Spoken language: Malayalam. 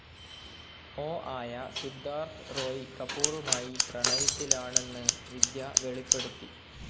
ഒ ആയ സിദ്ധാർത്ഥ് റോയ് കപൂറുമായി പ്രണയത്തിലാണെന്ന് വിദ്യ വെളിപ്പെടുത്തി.